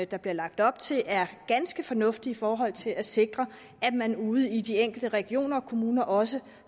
der bliver lagt op til er ganske fornuftige i forhold til at sikre at man ude i de enkelte regioner og kommuner også